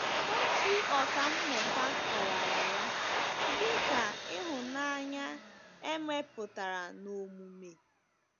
Otu ọkà mmụta kọwara ya dị ka “ ịhụnanya e mepụtara n'omume. ”